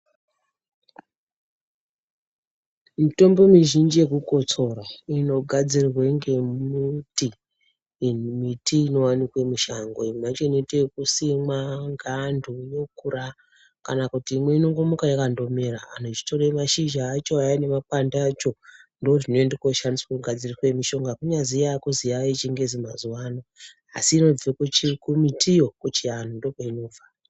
Mitombo mizhinji yekukotsora, inogadzirwe ngemuti ,iyi miti inowanikwe mushango .Imwe yacho inoite ekusimwa ngaanthu yokura, kana kuti imwe inongomuka yakandomera anthu echitore mashizha acho aya nemakwande acho. Ndozvinoende koshandiswa kugadzira mishonga kunyazi yaakuzi yaayechingezi mazuwa ano, asi inobve kuchi kumitiyo, kuchianhu ndokweinobva.